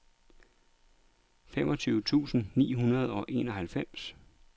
femogtyve tusind ni hundrede og enoghalvfems